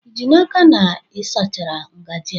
Ị ji n'aka na ị sachara ngajị a?